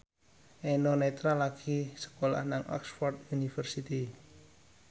Eno Netral lagi sekolah nang Oxford university